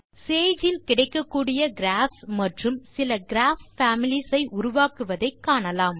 Sage இல் கிடைக்ககூடிய graphs மற்றும் சில கிராப் பேமிலீஸ் ஐ உருவாக்குவதை காணலாம்